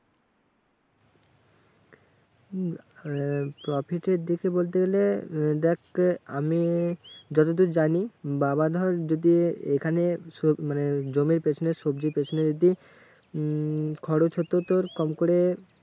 উম আহ profit এর দিকে বলতে গেলে, দেখ আমি যতদূর জানি, বাবা ধর যদি এখানে মানে জমির পেছনে সবজির পেছনে যদি উম খরচ হতো তোর কম করে